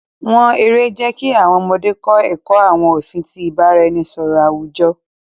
Wọn èrè jẹ̀ kí àwọn ọ̀mọdé kọ̀ ẹkọ̀ àwọn ofin ti ìbàráẹ̀nisọ̀rọ̀ awujo.